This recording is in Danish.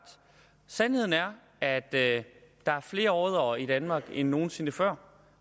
sandheden er er at der er flere oddere i danmark end nogen sinde før